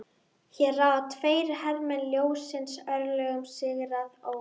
Hér ráða tveir hermenn ljóssins örlögum sigraðs óvinar.